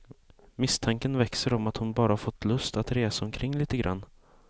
Misstanken växer om att hon bara fått lust att resa omkring lite grann.